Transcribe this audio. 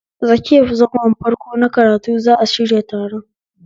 A tsakiyan zangon farko na karatu za'a shirya taron